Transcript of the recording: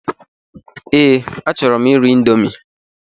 Ee, achọrọ m iri índomi